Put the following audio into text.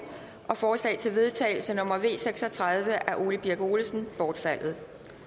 og forslag til vedtagelse nummer v seks og tredive af ole birk olesen bortfaldet